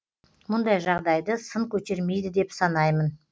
мұндай жағдайды сын көтермейді деп санаймын